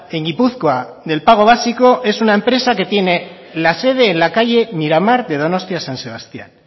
en gipuzkoa del pago básico es una empresa que tiene la sede en la calle miramar de donostia san sebastián